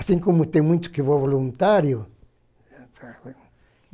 Assim como tem muitos que voluntariam